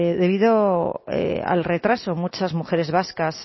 debido al retraso muchas mujeres vascas